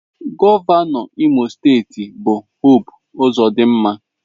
Gọvanọ Imo steeti bụ Hope Uzodinma.